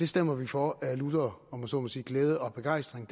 stemmer vi for af lutter om jeg så må sige glæde og begejstring